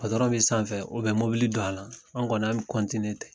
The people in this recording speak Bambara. be sanfɛ mobili banna, an' kɔni, an' be ten.